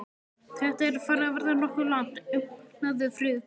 Þetta er farið að verða nokkuð langt, umlaði fraukan.